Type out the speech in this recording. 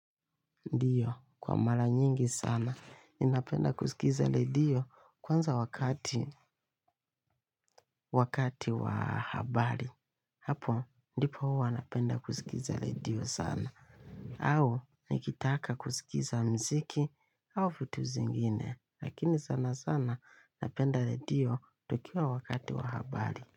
Ndio, kwa mara nyingi sana. Ni napenda kusikiza ledio. Kwanza wakati, wakati wa habari. Hapo, ndipo huwa napenda kusikiza ledio sana. Au, nikitaka kusikiza mziki au vitu zingine. Lakini sana sana, napenda ledio tukiwa wakati wa habari.